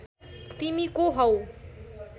तिमी को हौ